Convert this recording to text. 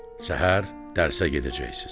Səhər dərsə gedəcəksiz.